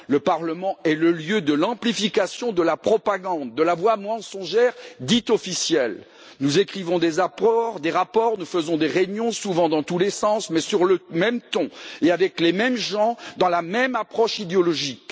Le Parlement est le lieu de l'amplification de la propagande, de la voix mensongère, dite officielle. Nous écrivons des rapports, nous organisons des réunions, souvent dans tous les sens, mais sur le même ton et avec les mêmes gens, dans la même approche idéologique.